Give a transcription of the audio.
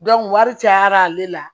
wari cayara ale la